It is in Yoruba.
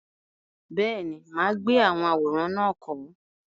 Bẹ́ẹ̀ni, mà á gbé àwọn àwòrán náà kọ́.